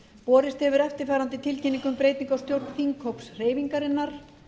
borist hefur eftirfarandi tilkynning um breytingu á stjórn þinghóps hreyfingarinnar